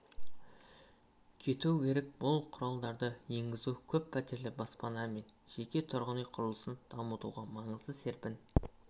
кету керек бұл құралдарды енгізу көппәтерлі баспана мен жеке тұрғын үй құрылысын дамытуға маңызды серпін